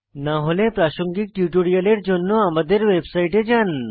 না হলে প্রাসঙ্গিক টিউটোরিয়ালের জন্য আমাদের ওয়েবসাইটে যান